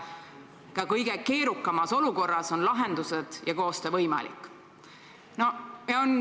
Ka kõige keerukamas olukorras on lahendused ja koostöö võimalikud.